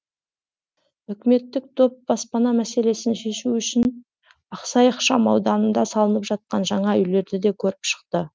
үкіметтік топ баспана мәселесін шешу үшін ақсай ықшам ауданында салынып жатқан жаңа үйлерді де көріп шықты